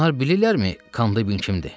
Onlar bilirlərmi Kandibin kimdir?